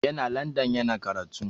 Yana landan yana karatu.